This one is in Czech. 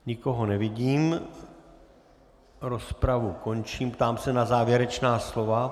Nikoho nevidím, rozpravu končím, ptám se na závěrečná slova.